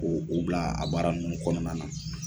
O o bila a baara ninnu kɔnɔnana.